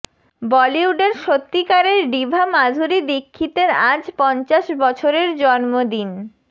বলিউডের সত্যিকারের ডিভা মাধুরী দীক্ষিতের আজ পঞ্চাশ বছরের জন্মদিন